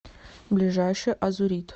ближайший азурит